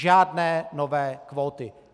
Žádné nové kvóty.